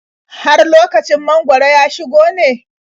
Har lokacin mangwaro ya shigo ne?